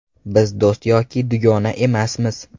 Biz do‘st yoki dugona emasmiz.